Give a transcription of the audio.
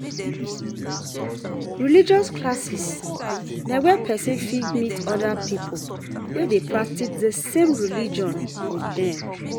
Religious classes na where person fit meet oda pipo wey dey practice di same religion with dem